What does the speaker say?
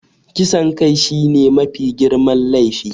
Kisan kai shine mafi girman laifi.